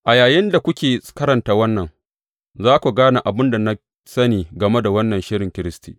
A yayinda kuke karanta wannan, za ku gane abin da na sani game da wannan shirin Kiristi.